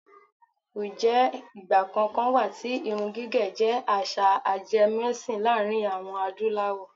ǹjẹ́ ìgbà kankan wà tí irun gígẹ̀ jẹ́ àṣà ajemẹ́sìn láàrin àwọm Adúláwọ̀?